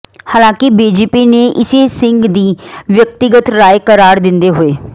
ਹਾਲਾਂਕਿ ਬੀਜੇਪੀ ਨੇ ਇਸੇ ਸਿੰਘ ਦੀ ਵਿਅਕਤੀਗਤ ਰਾਏ ਕਰਾਰ ਦਿੰਦੇ ਹੋਏ